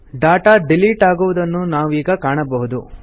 data delete ಆಗುವುದನ್ನು ನಾವೀಗ ಕಾಣಬಹುದು